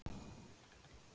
Hvenær mun sólin deyja út?